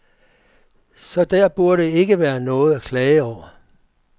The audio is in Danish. Så der burde ikke være noget at klage over.